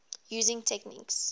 using techniques